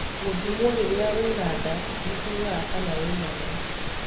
Gũthimo rĩrĩa wĩna nda nĩ kugaga kana wĩnayo.